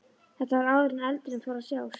Þetta var áður en eldurinn fór að sjást.